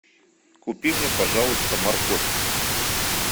купи мне пожалуйста морковь